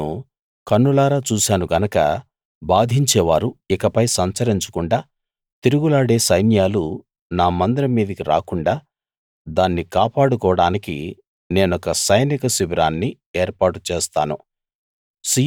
నేను కన్నులారా చూశాను గనక బాధించేవారు ఇకపై సంచరించకుండా తిరుగులాడే సైన్యాలు నా మందిరం మీదికి రాకుండా దాన్ని కాపాడుకోడానికి నేనొక సైనిక శిబిరాన్ని ఏర్పాటు చేస్తాను